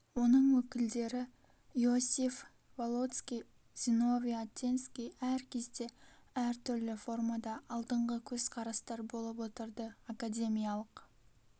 онын өкілдері иосиф волоцкий зиновий отенский әр кезде әр түрлі формада алдыңғы көзқарастар болып отырды академиялық